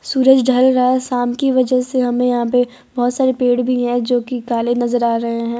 सूरज ढल रहा है शाम की वजह से हमें यहां पे बहोत सारे पेड़ भी है जो कि काले नजर आ रहे हैं।